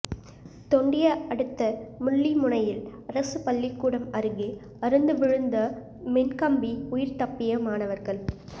தொண்டியை அடுத்த முள்ளிமுனையில் அரசு பள்ளிக்கூடம் அருகே அறுந்து விழுந்த மின் கம்பி உயிர் தப்பிய மாணவர்கள்